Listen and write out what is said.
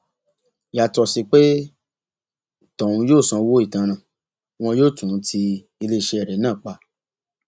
yàtọ sí pé tọhún yóò sanwó ìtanràn wọn yóò tún ti iléeṣẹ rẹ náà pa